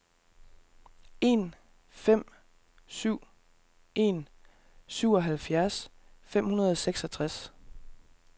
en fem syv en syvoghalvfjerds fem hundrede og seksogtres